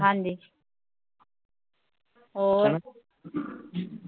ਹੋਰ